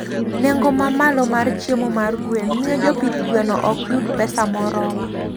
Nengo mamalo mar chiemo mar gwen miyo jopith gweno ok yud pesa moromo.